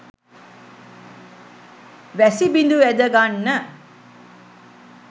වැසිබිඳු ඇද ගන්න